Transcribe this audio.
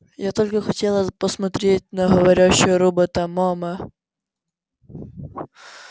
я только хотела посмотреть на говорящего робота мама